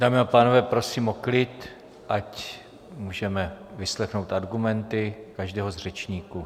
Dámy a pánové, prosím o klid, ať můžeme vyslechnout argumenty každého z řečníků.